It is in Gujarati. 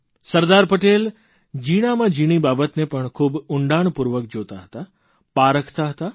સરદાર પટેલ જીણામાં જીણી બાબતને પણ ખૂબ ઉંડાણપૂર્વક જોતા હતા પારખતા હતા